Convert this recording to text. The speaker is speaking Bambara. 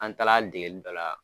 An taa la degeli dɔ la